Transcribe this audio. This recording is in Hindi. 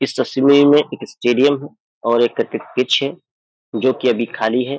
इस तस्वीर में एक स्टेडियम है और एक क्रिकेट पिच है जो अभी खाली है।